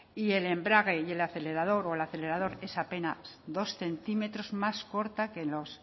y el embrague y el acelerador o el acelerador es apenas dos centímetros más corta que los